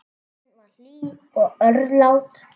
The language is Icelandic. Hún var hlý og örlát.